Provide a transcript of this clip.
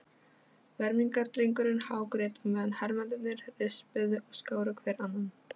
Fermingardrengurinn hágrét á meðan hermennirnir rispuðu og skáru hver annan.